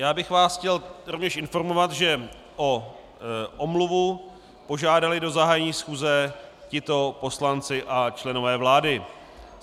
Já bych vás chtěl rovněž informovat, že o omluvu požádali do zahájení schůze tito poslanci a členové vlády.